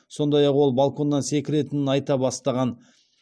сондай ақ ол балконнан секіретінін айта бастаған